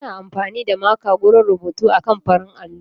Ana amfani da maka wajen rubutu akan farin allo.